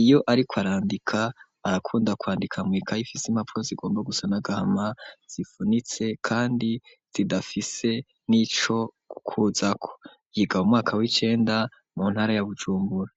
iyo ariko arandika arakunda kwandika mw'ikaye ifise impapuro zigomba gusa na gahama zifunitse kandi zidafise n'ico kuza ko yiga umwaka w'icenda mu ntara ya bujumbura.